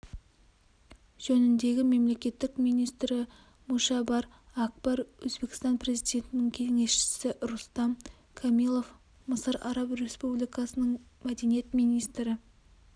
жөніндегі мемлекеттік министрі мушабар акбар өзбекстан президентінің кеңесшісі рустам камилов мысыр араб республикасының мәдениет министрі